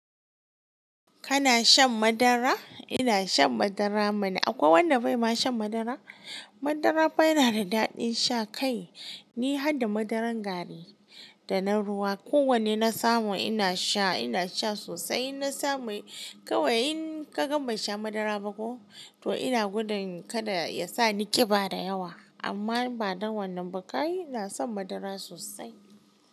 Kana shan madara? Ina shan madara mana. Akwai wanda bai ma shan madara? Madara fa yana da daɗin sha kai. Ni harda madaran gari da na ruwa, ko wanne na samu ina sha ina sha sosai. Na samu kawai in ka gama ban sha madara ba ko to ina gudun kada ya sa ni ƙiba da yawa. Amma ba don wannan ba, kai ina san madara sosai.